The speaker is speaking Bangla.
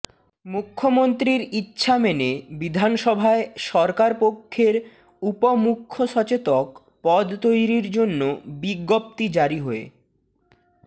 মুখ্যমন্ত্রীর ইচ্ছা মেনে বিধানসভায় সরকার পক্ষের উপ মুখ্য সচেতক পদ তৈরির জন্য বিজ্ঞপ্তি জারি হয়ে